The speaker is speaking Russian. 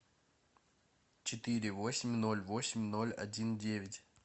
четыре восемь ноль восемь ноль один девять